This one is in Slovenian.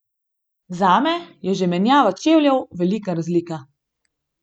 Zame je že menjava čevljev velika razlika.